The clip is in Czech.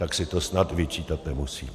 Tak si to snad vyčítat nemusí.